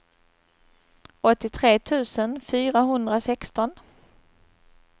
åttiotre tusen fyrahundrasexton